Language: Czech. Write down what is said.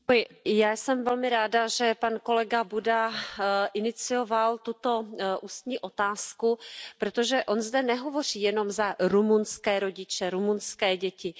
Pane předsedající, já jsem velmi ráda, že kolega Buda inicioval tuto ústní otázku, protože on zde nehovoří jenom za rumunské rodiče, rumunské děti.